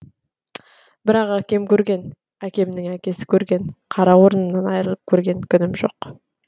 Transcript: бірақ әкем көрген әкемнің әкесі көрген қара орнымнан айырылып көрген күнім жоқ